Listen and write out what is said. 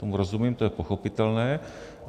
Tomu rozumím, to je pochopitelné.